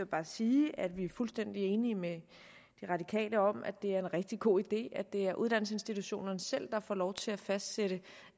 bare sige at vi er fuldstændig enige med de radikale om at det er en rigtig god idé at det er uddannelsesinstitutionerne selv der får lov til at fastsætte